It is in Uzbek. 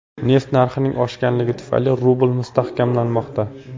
Neft narxining oshganligi tufayli rubl mustahkamlanmoqda.